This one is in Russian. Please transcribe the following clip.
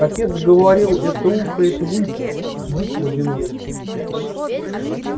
отец говорил это ухает выпь бык водяной